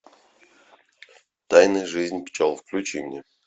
тайная жизнь пчел включи мне